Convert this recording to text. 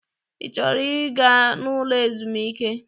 Ị chọrọ ịga n'ụlọ ezumike?